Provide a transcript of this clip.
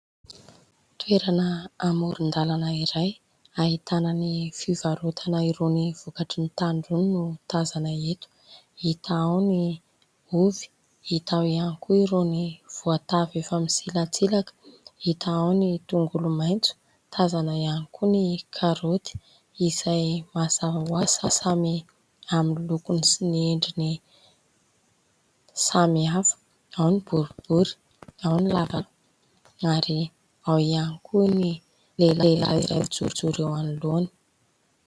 Toerana amoron-dàlana iray ahitana ny fivarotana irony vokatry ny tany irony no tazana eto. Hita ao ny ovy, hita ao ihany koa irony voatavo efa misilatsilaka. Hita ao ny tongolomaitso. Tazana ihany koa ny karaoty izay mazava ho azy fa samy amin'ny lokony sy ny endriny samihafa. Ao ny boribory, ao ny lavalava ary ao ihany koa ny lehilahy iray mijorojoro eo anoloana.